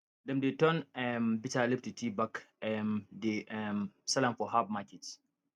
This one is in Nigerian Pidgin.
dem dey turn um bitterleaf to tea bag um dey um sell am for harb market